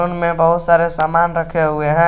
बगल में बहुत सारे सामान रखे हुए हैं।